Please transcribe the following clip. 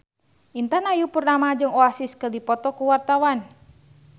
Intan Ayu Purnama jeung Oasis keur dipoto ku wartawan